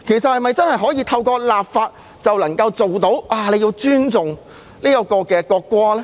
是否透過立法便能夠達到尊重國歌的效果呢？